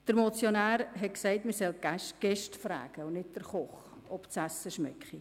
Der Motionär hat gesagt, man solle die Gäste fragen und nicht den Koch, ob das Essen schmecke.